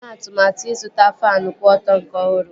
Ha na-eme atụmatụ ịzụta faanụ kwụ ọtọ nke ọhụrụ